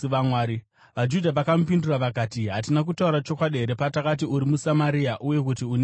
VaJudha vakamupindura vakati, “Hatina kutaura chokwadi here patakati uri muSamaria uye kuti une dhimoni?”